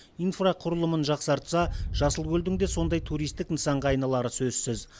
инфрақұрылымын жақсартса жасылкөлдің де сондай туристік нысанға айналары сөзсіз